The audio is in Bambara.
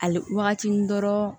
Ale wagati ni dɔrɔn